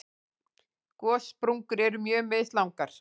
Gossprungur eru mjög mislangar.